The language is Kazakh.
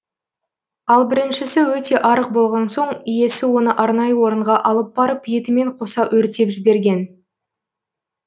ал біріншісі өте арық болған соң иесі оны арнайы орынға алып барып етімен қоса өртеп жіберген